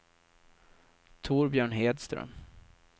Torbjörn Hedström